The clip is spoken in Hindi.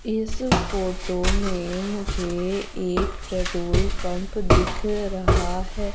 इस फोटो में मुझे एक प्रेटोल पंप दिख रहा है।